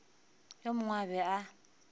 yo mongwe a be a